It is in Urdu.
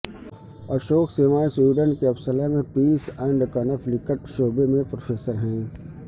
اشوک سوائیں سویڈن کے اپسلا میں پیس اینڈ کنفلکٹ شعبے میں پروفیسر ہیں